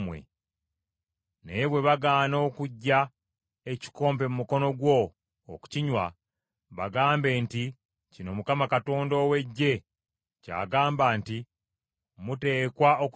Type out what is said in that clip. Naye bwe bagaana okuggya ekikopo mu mukono gwo okukinywa, bagambe nti, ‘Kino Mukama Katonda ow’Eggye ky’agamba nti, Muteekwa okukinywa!